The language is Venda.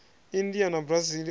india na brazil o no